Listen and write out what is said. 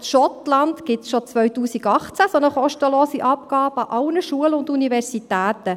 In Schottland gibt es schon seit 2018 eine solche kostenlose Abgabe an allen Schulen und Universitäten.